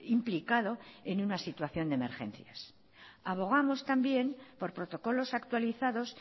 implicado en una situación de emergencias abogamos también por protocolos actualizados